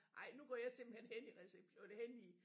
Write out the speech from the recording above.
Ej nu går jeg simpelthen hen i recept eller hen i